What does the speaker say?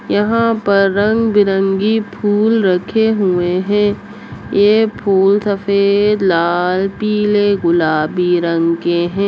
यहाँ पर रंग-बिरंगी फूल रखे हुए हैं। ये फूल सफ़ेद लाल पिले गुलाबी रंग के हैं।